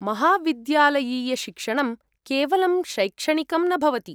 महाविद्यालयीयशिक्षणं केवलं शैक्षणिकं न भवति।